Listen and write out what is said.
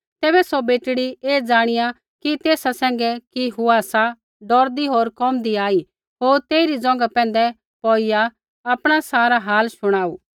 तैबै सौ बेटड़ी ऐ जाणिया कि तेसा सैंघै कि हुआ सा डौरदी होर कोमदैआ आई होर तेइरी ज़ोंघा पैंधै पौड़िया आपणा सारा हाल शुणाऊ